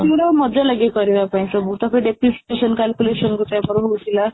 ଆମର ମଜା ଲାଗେ କରିବା ପାଇଁ ସବୁ ତାପରେ deprecation calculation ଗୋଟେ ଭଲ ହଉଥିଲା